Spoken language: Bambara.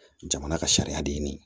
Jamana ka sariya de ɲini